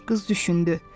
Qız düşündü.